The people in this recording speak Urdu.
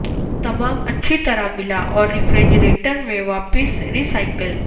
تمام اچھی طرح ملا اور ریفریجریٹر میں واپس ری سائیکل